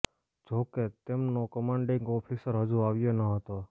જો કે તેમનો કમાન્ડિંગ ઓફિસર હજુ આવ્યો ન હતો